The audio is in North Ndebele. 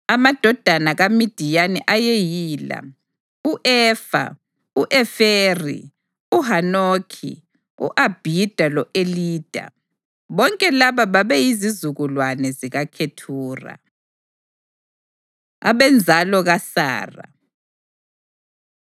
Amadodana kaMidiyani ayeyila: u-Efa, u-Eferi, uHanokhi, u-Abhida lo-Elida. Bonke laba babeyizizukulwane zikaKhethura. Abenzalo KaSara